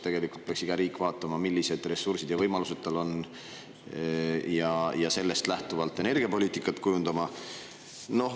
Tegelikult peaks iga riik vaatama, millised ressursid ja võimalused tal on, ja sellest lähtuvalt energiapoliitikat kujundama.